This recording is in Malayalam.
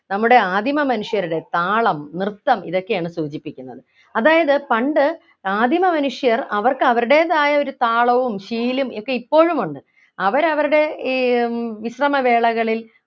നമ്മുടെ ആദിമ മനുഷ്യരുടെ താളം നൃത്തം ഇതൊക്കെയാണ് സൂചിപ്പിക്കുന്നത് അതായത് പണ്ട് ആദിമ മനുഷ്യർ അവർക്ക് അവരുടേതായ ഒരു താളവും ശീലും ഒക്കെ ഇപ്പോഴും ഉണ്ട് അവരവരുടെ ഈ ഏർ വിശ്രമവേളകളിൽ